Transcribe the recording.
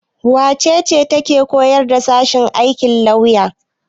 Wace ce take koyarwa a sashen aikin lafiya?